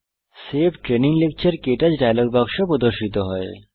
save training lecture ক্টাচ dialog বাক্স প্রদর্শিত হয়